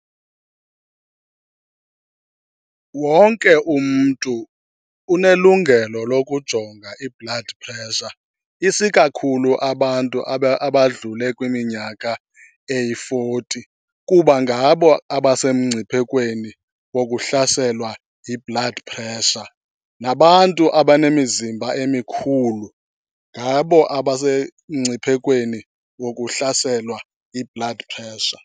Wonke umntu unelungelo lokujonga i-blood pressure, isikakhulu abantu abadlule kwiminyaka eyi-forty kuba ngabo abasemngciphekweni wokuhlaselwa yi-blood pressure. Nabantu abanemizimba emikhulu ngabo abasemngciphekweni wokuhlaselwa yi-blood pressure.